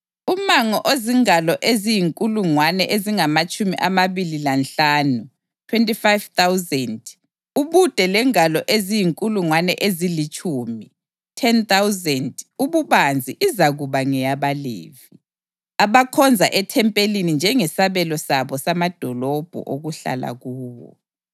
Umango ozingalo eziyinkulungwane ezingamatshumi amabili lanhlanu (25,000) ubude lengalo eziyinkulungwane ezilitshumi (10,000) ububanzi izakuba ngeyabaLevi, abakhonza ethempelini, njengesabelo sabo samadolobho okuhlala kuwo.